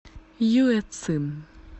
юэцин